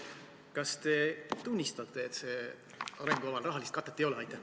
Kas te tunnistate, et sel arengukaval rahalist katet ei ole?